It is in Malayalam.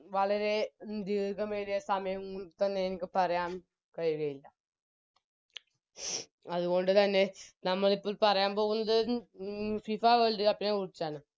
വളരെ ദീർഘമേറിയ സമയം തന്നെ എനിക്ക് പറയാം കഴിയുകയില്ല അതുകൊണ്ട് തന്നെ നമ്മളിപ്പോൾ പറയാൻ പോകുന്നത് FIFA World cup നെ കുറിച്ചിറ്റാന്ന്